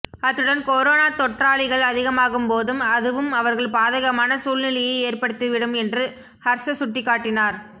அத்துடன் கொரோனா தொற்றாளிகள் அதிகமாகும்போதும் அதுவும் அவர்கள் பாதகமான சூழ்நிலையை ஏற்படுத்திவிடும் என்று ஹர்ச சுட்டிக்காட்டினார்